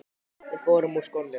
Við förum úr skónum.